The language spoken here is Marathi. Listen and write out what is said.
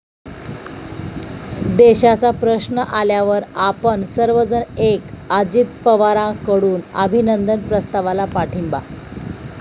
देशाचा प्रश्न आल्यावर आपण सर्वजण एक', अजित पवारांकडून अभिनंदन प्रस्तावाला पाठिंबा